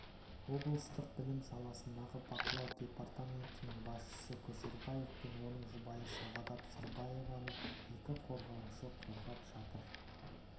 облыстық білім саласындағы бақылау департаментінің басшысы көшербаев пен оның жұбайы сағадат сырбаеваны екі қорғаушы қорғап жатыр